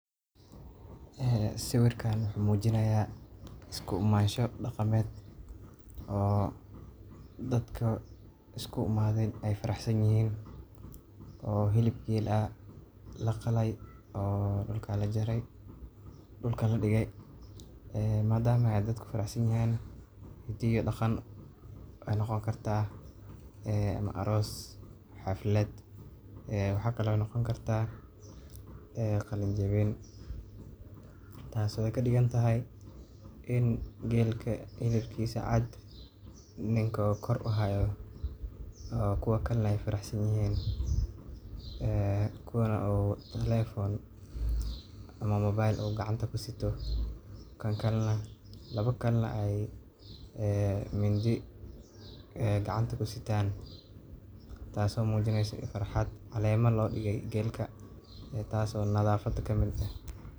Ehh siwirkan wuxu mujinaya isku imansho daqamed oo dadka isku imaden ayy faraxsan yixin oo xib geel ah laqalay oo dulka ladigay ee madama ayy dadka faraxsan yixin waxay noqon karta ama aross mase xaflad ee waxay kale oo noqon karta ee qalin jawin taas oo ay kadigan taxay in geelka xilibkisa cad ninka kor uxaayo ooo kuwa kalena ay faraxasan yixin ee kuwa oo mobile uu gacanta kusito kan kalenax ayy ee mindi ay gacanta kusitan tass oo mujineso farxad caleema lodigay geelka taas oo nadaafada kamid eh.